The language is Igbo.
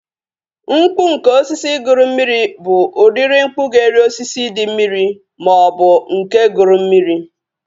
Mkpu nke osisi guru mmiri bụ udiri mkpu ga-eri osisi dị mmiri maọbụ nke guru mmiri